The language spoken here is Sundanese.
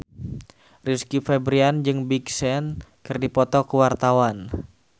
Rizky Febian jeung Big Sean keur dipoto ku wartawan